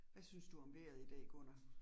Hvad synes du om vejret i dag, Gunnar?